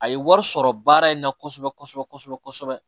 A ye wari sɔrɔ baara in na kosɛbɛ kosɛbɛ kosɛbɛ kosɛbɛ